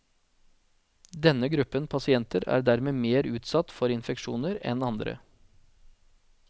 Denne gruppen pasienter er dermed mer utsatt for infeksjoner enn andre.